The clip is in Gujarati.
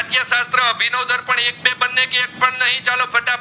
કે એકપણ નહીં ચાલે ફટાફટ